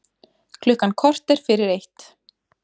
Klukkan korter fyrir eitt